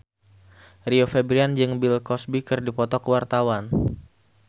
Rio Febrian jeung Bill Cosby keur dipoto ku wartawan